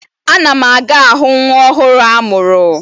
A na m aga ahụ nwa ọhụrụ a mụrụ